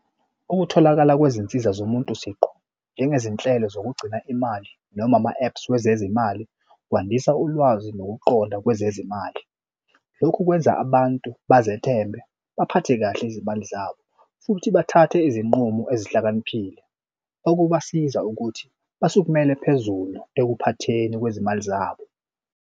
Ukutholakala kwezinsiza zomuntu siqu njengezinhlelo zokugcina imali noma ama-apps wezezimali kwandisa ulwazi nokuqonda kwezezimali. Lokhu kwenza abantu bazethembe baphathe kahle izimali zabo futhi bathathe izinqumo ezihlakaniphile, okubasiza ukuthi basukumele phezulu ekuphatheni kwezimali zabo.